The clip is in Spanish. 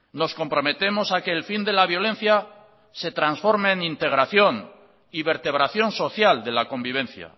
nos comprometemos a que el fin de la violencia se trasforme en integración y vertebración social de la convivencia